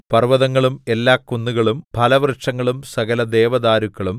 പർവ്വതങ്ങളും എല്ലാ കുന്നുകളും ഫലവൃക്ഷങ്ങളും സകലദേവദാരുക്കളും